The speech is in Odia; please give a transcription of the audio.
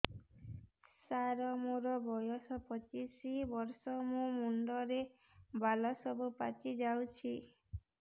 ସାର ମୋର ବୟସ ପଚିଶି ବର୍ଷ ମୋ ମୁଣ୍ଡରେ ବାଳ ସବୁ ପାଚି ଯାଉଛି